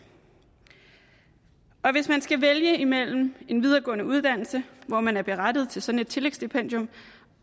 og hvis man skal vælge imellem en videregående uddannelse hvor man er berettiget til sådan et tillægsstipendium